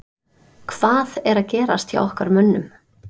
Hvað er að gerast hjá okkar mönnum?